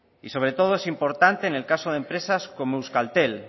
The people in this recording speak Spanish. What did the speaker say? y sobre todo es importante en caso de empresas como euskaltel